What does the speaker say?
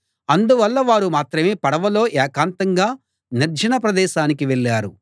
అందువల్ల వారు మాత్రమే పడవలో ఏకాంతంగా నిర్జన ప్రదేశానికి వెళ్ళారు